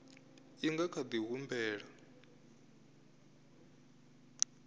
i nga kha di humbela